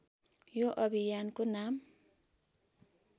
यो अभियानको नाम